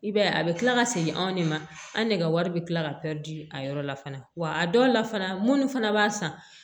I b'a ye a bɛ tila ka segin anw de ma an ne ka wari bɛ tila ka pɛridi a yɔrɔ la fana wa a dɔw la fana minnu fana b'a san